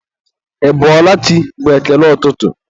ị bọọla chi? bụ ekele ụtụtụ